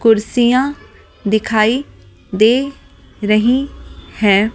कुर्सियां दिखाई दे रही हैं।